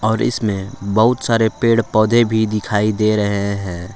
और इसमें बहुत सारे पेड़ पौधे भी दिखाई दे रहे हैं।